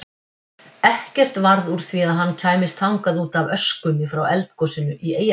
Ekkert varð úr því að hann kæmist þangað útaf öskunni frá eldgosinu í Eyjafjallajökli.